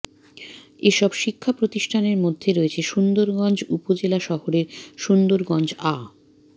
এসব শিক্ষাপ্রতিষ্ঠানের মধ্যে রয়েছে সুন্দরগঞ্জ উপজেলা শহরের সুন্দরগঞ্জ আ